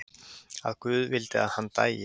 Að guð vildi að hann dæi.